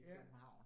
Ja